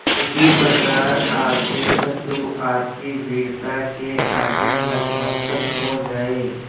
उसी प्रकार आपके शत्रु आपकी वीरता के आगे नतमस्तक हो जाएं